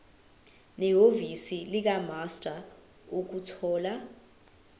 nehhovisi likamaster ukuthola